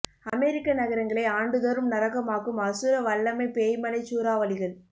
அமெரிக்க நகரங்களை ஆண்டுதோறும் நரகம் ஆக்கும் அசுர வல்லமைப் பேய்மழைச் சூறாவளிகள்